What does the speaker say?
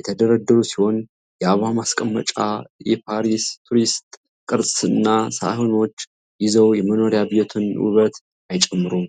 የተደረደሩ ሲሆን የአበባ ማስቀመጫ፣ የፓሪስ ቱሪስት ቅርጽና ሳህኖች ይዘው የመኖሪያ ቤትን ውበት አይጨምሩም?